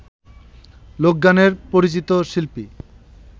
লোকগানের পরিচিত শিল্পী